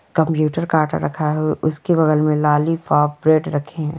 Computer काटा रखा है उसके बगल में लॉलीपॉप ब्रेड रखा हुआ है।